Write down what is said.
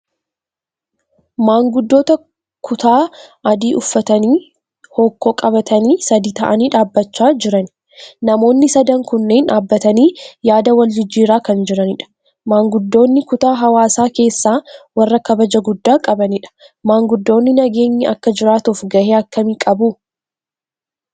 Manguddoota kutaa adii uffatanii hokkoo qabatanii sadii ta'anii dhaabachaa jiran. Namoonni sadan kunneen dhaabatanii yaada wal jijjiiraa kan jiranidha. Maanguddoonni kutaa hawaasaa keessaa warra kabajaa guddaa qabanidha. Maanguddoonni nageenyi akka jiraatuuf gahee akkamii qabu?